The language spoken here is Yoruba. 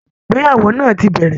Ayẹyẹ ìgbéyàwó náà ti bẹ̀rẹ̀